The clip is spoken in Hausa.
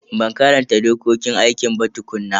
Ban karanta dokokin aikin ba tukuna.